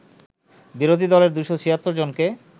বিরোধী দলের ২৭৬ জনকে